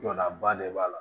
Jɔdaba de b'a la